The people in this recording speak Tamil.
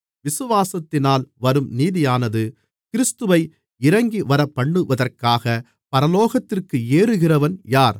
விசுவாசத்தினால் வரும் நீதியானது கிறிஸ்துவை இறங்கிவரப்பண்ணுவதற்காக பரலோகத்திற்கு ஏறுகிறவன் யார்